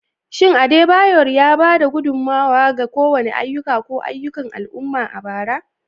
Shin Adebayor ya ba da gudummawa ga kowane ayyuka ko ayyukan al'umma a bara?